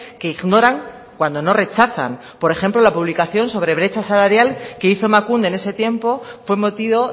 que ignoran cuando no rechazan por ejemplo la publicación sobre brecha salarial que hizo emakunde en ese tiempo fue motivo